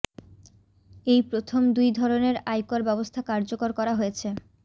এই প্রথম দুই ধরণের আয়কর ব্যবস্থা কার্যকর করা হয়েছে